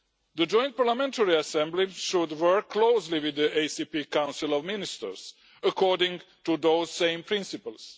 The Joint Parliamentary Assembly should work closely with the ACP Council of Ministers, according to those same principles.